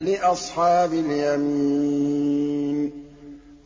لِّأَصْحَابِ الْيَمِينِ